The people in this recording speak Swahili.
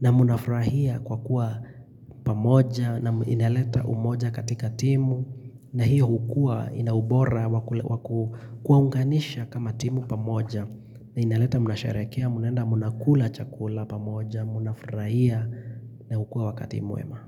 na munafrahia kwa kuwa pamoja na ineleta umoja katika timu na hiyo hukua ina ubora wa kuwaunganisha kama timu pamoja na ineleta mnasharekea Munaenda munakula chakula pamoja Munafrahia na hukua wakati mwema.